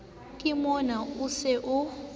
ke mona o se o